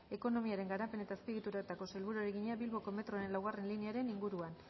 ekonomiaren garapen eta azpiegituretako sailburuari egina bilboko metroaren laugarrena linearen inguruan